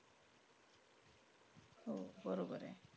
हो. बरोबरंय.